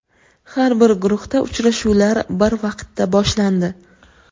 Har bir guruhda uchrashuvlar bir vaqtda boshlandi.